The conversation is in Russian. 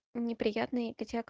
неприятный